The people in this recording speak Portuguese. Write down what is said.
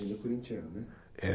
Ele é corintiano, né?